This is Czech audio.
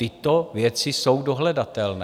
Tyto věci jsou dohledatelné.